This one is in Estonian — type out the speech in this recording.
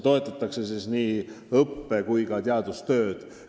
Toetatakse nii õppe- kui ka teadustööd.